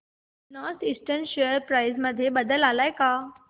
north Eastern share price मध्ये बदल आलाय का